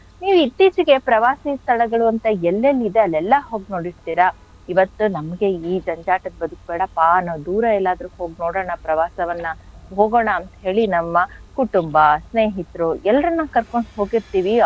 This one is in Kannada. ನೀವ್ ಇತ್ತೀಚೆಗೆ ಪ್ರವಾಸಿ ಸ್ಥಳಗಳು ಅಂತ ಎಲ್ಲೆಲ್ಲಿದೆ ಅಲ್ಲೆಲ್ಲ ಹೋಗ್ ನೋಡಿರ್ತಿರ ಇವತ್ತು ನಮ್ಗೆ ಈ ಜಂಜಾಟದ್ ಬದ್ಕ್ ಬೇಡಪ್ಪ ನಾವ್ ದೂರ ಎಲ್ಲಾದ್ರು ಹೋಗ್ ನೋಡಣ ಪ್ರವಾಸವನ್ನ ಹೋಗಣ ಅಂತ್ ಹೇಳಿ ನಮ್ಮ ಕುಟುಂಬ ಸ್ನೇಹಿತರು ಎಲ್ರನ್ನು ಕರ್ಕೊಂಡು ಹೋಗಿರ್ತಿವಿ,